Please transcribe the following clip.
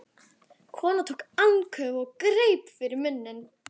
Konan tók andköf og greip fyrir munninn.